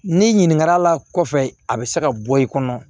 Ni ɲininkali la kɔfɛ a bɛ se ka bɔ i kɔnɔ